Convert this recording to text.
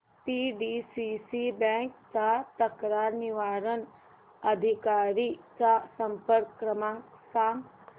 PDCC bank च्या तक्रार निवारण अधिकारी चा संपर्क क्रमांक सांग